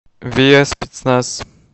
виа спецназ